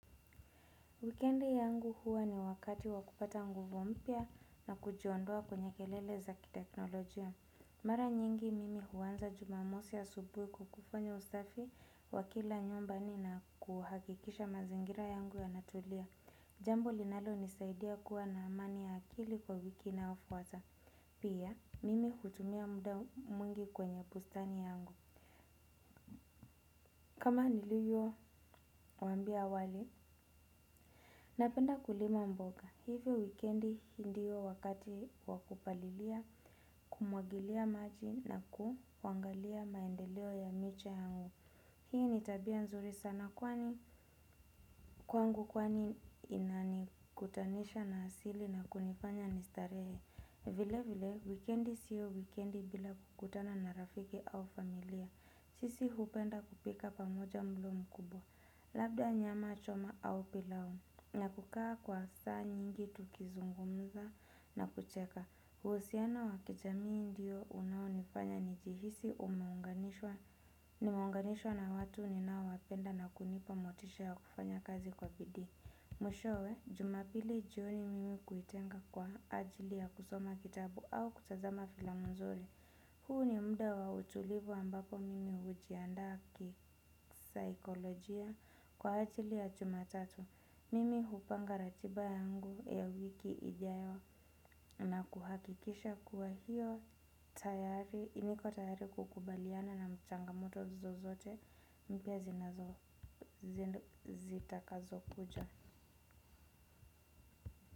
Wikendi yangu huwa ni wakati wa kupata nguvu mpya na kujiondoa kwenye kelele za kiteknolojia. Mara nyingi mimi huanza jumamosi asubuhi kwa kufanya usafi wa kila nyumba na kuhakikisha mazingira yangu yanatulia. Jambo linalonisaidia kuwa na amani ya akili kwa wiki inayofuata. Pia, mimi hutumia muda mwingi kwenye bustani yangu. Kama nilivyowaambia wale? Napenda kulima mboga. Hivyo wikendi hii ndiyo wakati wa kupalilia, kumwagilia maji na kuangalia maendeleo ya miche yangu. Hii ni tabia nzuri sana kwani, kwangu kwani inanikutanisha na asili na kunifanya nistarehe. Vile vile, wikendi siyo wikendi bila kukutana na rafiki au familia. Sisi hupenda kupika pamoja mlo mkubwa, labda nyama choma au pilau, na kukaa kwa saa nyingi tukizungumza na kucheka. Uhusiano wa kijamii ndiyo unaonifanya nijihisi nimeunganishwa na watu ninaowapenda na kunipa motisha ya kufanya kazi kwa bidii. Mwishowe, jumapili jioni mimi huitenga kwa ajili ya kusoma kitabu au kutazama filamu nzuri. Huu ni muda wa utulivu ambapo mimi hujiandaa kisaikolojia kwa ajili ya jumatatu. Mimi hupanga ratiba yangu ya wiki ijayo na kuhakikisha kuwa hiyo tayari. Niko tayari kukubaliana na changamoto zozote mpya zinazo zitakazo kuja.